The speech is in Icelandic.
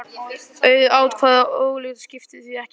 Auð atkvæði og ógild skipta því ekki máli.